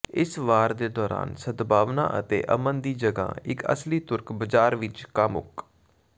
ਇਸ ਵਾਰ ਦੇ ਦੌਰਾਨ ਸਦਭਾਵਨਾ ਅਤੇ ਅਮਨ ਦੀ ਜਗ੍ਹਾ ਇੱਕ ਅਸਲੀ ਤੁਰਕ ਬਾਜ਼ਾਰ ਵਿੱਚ ਕਾਮੁਕ